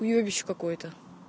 уебище какое-то